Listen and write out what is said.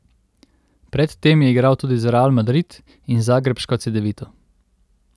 Predtem je igral tudi za Real Madrid in zagrebško Cedevito.